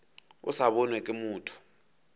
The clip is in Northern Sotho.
a sa bonwe ke motho